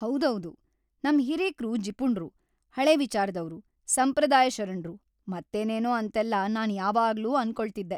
ಹೌದೌದು! ನಮ್‌ ಹಿರೀಕ್ರು ಜಿಪುಣ್ರು, ಹಳೇ- ವಿಚಾರದವ್ರು, ಸಂಪ್ರದಾಯಶರಣ್ರು ಮತ್ತೇನೇನೂ ಅಂತೆಲ್ಲಾ ನಾನ್‌ ಯಾವಾಗ್ಲೂ ಅನ್ಕೊಳ್ತಿದ್ದೆ.